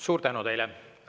Suur tänu teile!